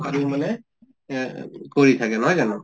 কাৰি মানে এহ কৰি থাকে নহয় জানো?